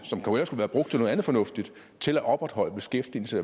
noget andet fornuftigt til at opretholde beskæftigelse